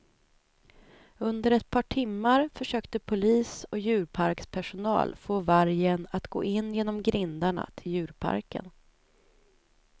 Under ett par timmar försökte polis och djurparkspersonal få vargen att gå in genom grindarna till djurparken.